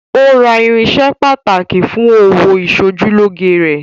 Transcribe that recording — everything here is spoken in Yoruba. Ó Ra irinṣẹ́ pàtàkì fún òwò ìsojúlóge rẹ̀.